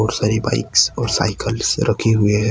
बहुत सारी बाइक्स और साइकिल्स रखी हुए है।